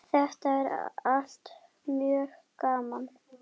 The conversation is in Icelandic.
Þetta er allt mjög gaman.